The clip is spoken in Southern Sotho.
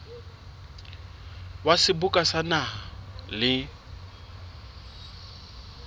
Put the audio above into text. wa seboka sa naha le